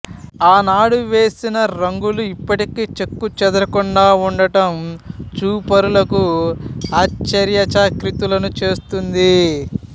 ఆనాడు వేసిన రంగులు ఇప్పటికీ చెక్కుచెదరకుండా ఉండటం చూపరులకు ఆశ్చర్యచకితులను చేస్తుంది